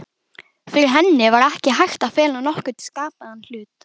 Fyrir henni var ekki hægt að fela nokkurn skapaðan hlut.